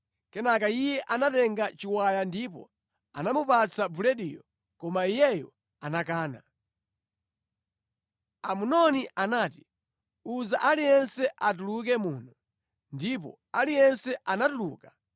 Kenaka iye anatenga chiwaya ndipo anamupatsa bulediyo, koma iyeyo anakana. Amnoni anati “Uza aliyense atuluke muno.” Ndipo aliyense anatuluka.